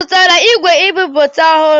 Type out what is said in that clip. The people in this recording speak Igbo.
Ọ zụtara igwe nbipute ọhụrụ?